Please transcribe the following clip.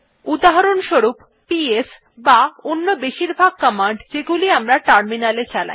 উদাহরণস্বরূপ পিএস বা অন্য বেশিরভাগ কমান্ড যেগুলি আমরা টার্মিনালে চালাই